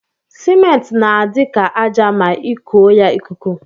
Cement na adi ka aja ma ikuọ ya ikuku.